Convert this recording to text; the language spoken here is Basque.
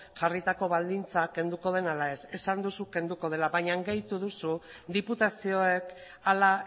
jarritako baldintza kenduko den ala ez esan duzu kenduko dela baina gehitu duzu diputazioek hala